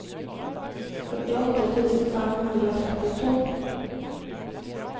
førtiåtte tusen fem hundre og trettito